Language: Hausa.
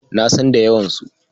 Na san da yawansu.